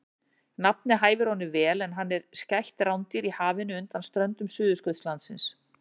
Nafnið hæfir honum vel en hann er skætt rándýr í hafinu undan ströndum Suðurskautslandsins.